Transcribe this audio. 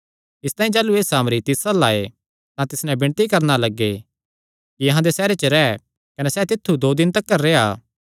इसतांई जाह़लू एह़ सामरी तिस अल्ल आये तां तिस नैं विणती करणा लग्गे कि अहां दे सैहरे च रैह् कने सैह़ तित्थु दो दिन तिकर रेह्आ